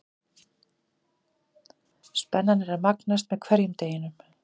Spennan er að magnast með hverjum deginum.